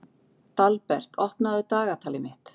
Dalbert, opnaðu dagatalið mitt.